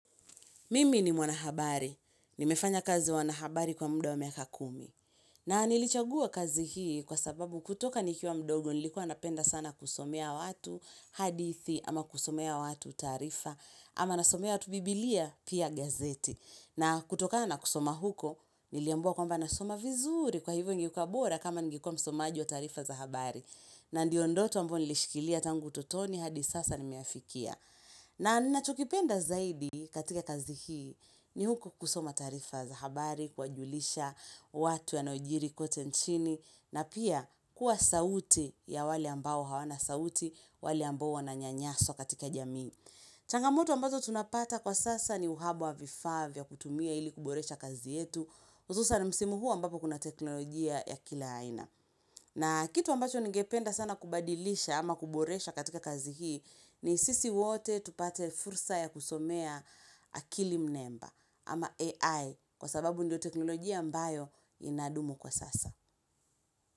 Mimi ni mwanahabari. Nimefanya kazi wanahabari kwa muda wa miaka kumi. Na nilichagua kazi hii kwa sababu kutoka nikiwa mdogo nilikuwa napenda sana kusomea watu hadithi ama kusomea watu taarifa ama nasomea watu biblia pia gazeti. Na kutoka na kusoma huko niliambiwa kwamba nasoma vizuri kwa hivyo ingekuwa bora kama ningenguwa msomaji wa taarifa za habari. Na ndiondoto ambayo nilishikilia tangu ututoni hadi sasa nimeyafikia. Na ninacho kipenda zaidi katika kazi hii ni huko kusoma taarifa za habari, kuwa julisha, watu yanayojiri kote nchini, na pia kuwa sauti ya wale ambao hawana sauti, wale ambao wananyanyaswa katika jamii. Changamoto ambazo tunapata kwa sasa ni uhaba wa vifavya kutumia ili kuboresha kazi yetu, hususan msimu huu ambapo kuna teknolojia ya kila aina. Na kitu ambacho ngependa sana kubadilisha ama kuboresha katika kazi hii ni sisi wote tupate fursa ya kusomea akili mnemba ama AI kwa sababu ndio teknolojia ambayo inadumu kwa sasa.